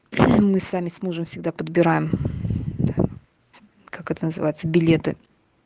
мы сами с мужем всегда подбираем как это называется билеты